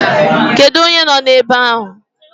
Kedu onye no ebe ahụ?